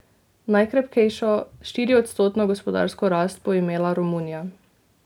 Najkrepkejšo, štiriodstotno gospodarsko rast bo imela Romunija.